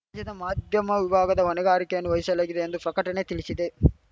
ರಾಜ್ಯದ ಮಾಧ್ಯಮ ವಿಭಾಗದ ಹೊಣೆಗಾರಿಕೆಯನ್ನು ವಹಿಶಲಾಗಿದೆ ಎಂದು ಫಕಟಣೆ ತಿಳಿಸಿದೆ